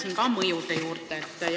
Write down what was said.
Tulen ka mõjude juurde.